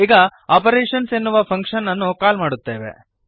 ಈಗ ಆಪರೇಶನ್ಸ್ ಎನ್ನುವ ಫಂಕ್ಶನ್ ಅನ್ನು ಕಾಲ್ ಮಾಡುತ್ತೇವೆ